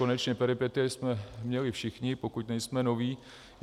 Konečně, peripetie jsme měli všichni, pokud nejsme noví.